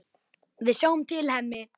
Við sjáum til, Hemmi.